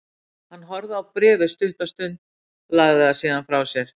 Hann horfði á bréfið stutta stund, lagði það síðan frá sér.